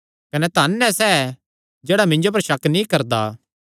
कने धन ऐ सैह़ जेह्ड़ा मिन्जो पर शक नीं करदा